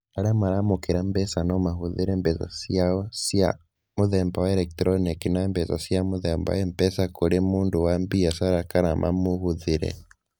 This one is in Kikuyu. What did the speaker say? Arĩa maramũkĩra mbeca no mahũthĩre mbeca ciao cia mũthemba wa eletroniki na mbeca cia mũthemba wa M-Pesa kũrĩ mũndũ wa biacara kana mamĩhũthĩre.